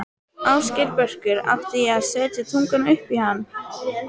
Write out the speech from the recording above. Ásgeir Börkur: Átti ég að setja tunguna upp í hann?